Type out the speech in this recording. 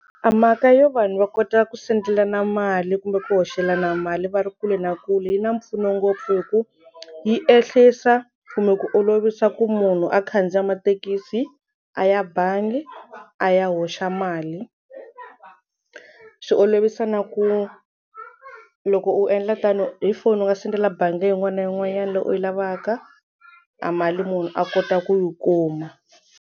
Mhaka yo vanhu va kota ku sendelana mali kumbe ku hoxelana mali va ri kule na kule yi na mpfuno ngopfu hi ku yi ehlisa kumbe ku olovisa ku munhu a khandziya mathekisi a ya bangi a ya hoxa mali swi olovisa na ku loko u endla tano hi foni u nga sendela bangi yin'wana na yin'wanyana leyi u yi lavaka a mali munhu a kota ku yi kuma.